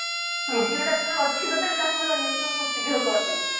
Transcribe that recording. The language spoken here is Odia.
ajio ଟା ଅଛି ତ ତାକୁ ବି uninstall ଖୁବ ଶୀଘ୍ର କରିଦେବି